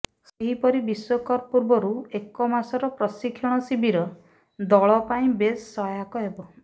ସେହିପରି ବିଶ୍ୱକପ୍ ପୂର୍ବରୁ ଏକମାସର ପ୍ରଶିକ୍ଷଣ ଶିବିର ଦଳ ପାଇଁ ବେଶ ସହାୟକ ହେବ